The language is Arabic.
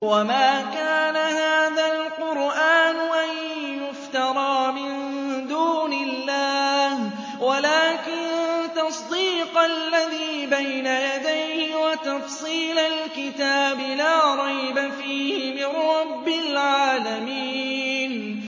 وَمَا كَانَ هَٰذَا الْقُرْآنُ أَن يُفْتَرَىٰ مِن دُونِ اللَّهِ وَلَٰكِن تَصْدِيقَ الَّذِي بَيْنَ يَدَيْهِ وَتَفْصِيلَ الْكِتَابِ لَا رَيْبَ فِيهِ مِن رَّبِّ الْعَالَمِينَ